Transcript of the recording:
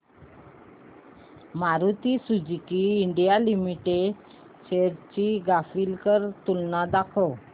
Maruti Suzuki India limited shares ची graphical तुलना दाखव